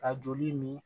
Ka joli min